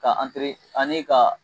Ka ani ka